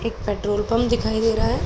एक petrol pump दिखाई दे रहा है।